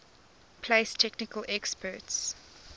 place technical experts